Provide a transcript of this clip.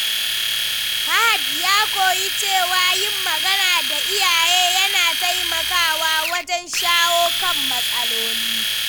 Fahad ya koyi cewa yin magana da iyaye yana taimakawa wajen shawo kan matsaloli.